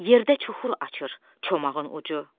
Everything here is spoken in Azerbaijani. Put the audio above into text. Yerdə çuxur açır çomağın ucu.